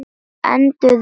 Enduðum við vel?